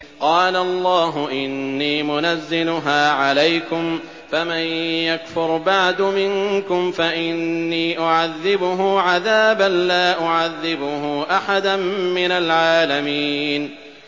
قَالَ اللَّهُ إِنِّي مُنَزِّلُهَا عَلَيْكُمْ ۖ فَمَن يَكْفُرْ بَعْدُ مِنكُمْ فَإِنِّي أُعَذِّبُهُ عَذَابًا لَّا أُعَذِّبُهُ أَحَدًا مِّنَ الْعَالَمِينَ